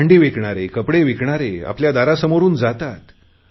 भांडी विकणारे कपडे विकणारे घरासमोरुन जातात